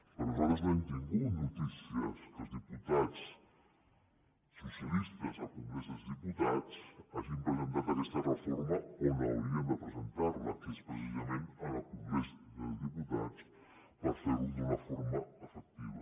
perquè nosaltres no hem tingut notícies que els diputats socialistes al congrés dels diputats hagin presentat aquesta reforma on haurien de presentar la que és precisament al congrés dels diputats per ferho d’una forma efectiva